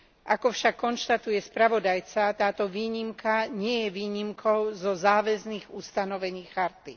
Ako však konštatuje spravodajca, táto výnimka nie je výnimkou zo záväzných ustanovení charty.